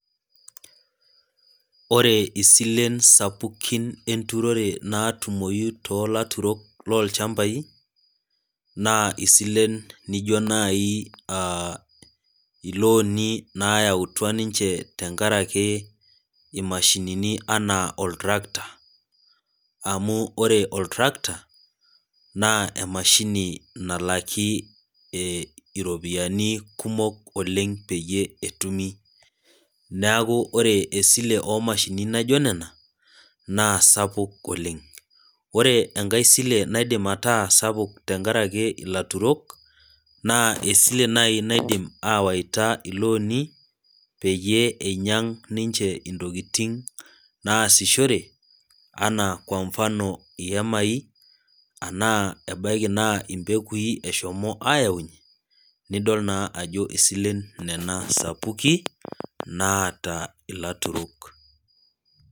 Ore isilen sapukin naatumoyu toolaturok loolchamapi ,naa isilen naijo nayautua ninche tenkaraki imashinini ena oltracta. amu ore oltracta naa emashini nalaki ropiyiani kumok oleng peyie etumi. neeku ore esile oomashinini naijo nena naa sapuk oleng. ore enkae sile naaidim ataasa sapuk tenkaraki ilaturok, naa esile naaji naidim awaita ilooni peyie einyang ninche ntokiting naasishore ana kwa mfano ihemai enaa mbegui eshomo ayaunyie nidol naa ajo isilen nena sapukin naata ilaturok.